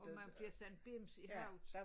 Og man bliver sådan bims i hovedet